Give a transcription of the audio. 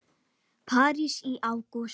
París í ágúst